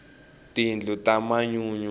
tindlu ta manyunyu